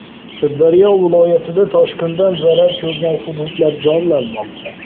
Sirdaryo viloyatida toshqindan zarar ko‘rgan hududlar jonlanmoqda.